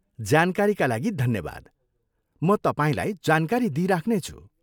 जानकारीका लागि धन्यवाद, म तपाईँलाई जानकारी दिइराख्नेछु।